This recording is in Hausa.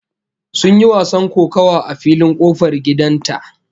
Sun yi wasan kokawa a filin kofar gidan ta